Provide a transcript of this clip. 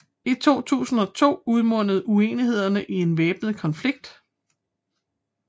I 2002 udmundede uenighederne i en væbnet konflikt